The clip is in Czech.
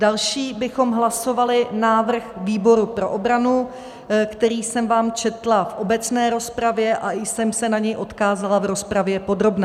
Další bychom hlasovali návrh výboru pro obranu, který jsem vám četla v obecné rozpravě, a i jsem se na něj odkázala v rozpravě podrobné.